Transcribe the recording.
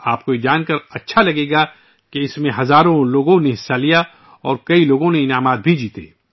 آپ کو یہ جان کر خوشی ہوگی کہ اس میں ہزاروں لوگوں نے شرکت کی اور بہت سے لوگوں نے انعامات بھی جیتے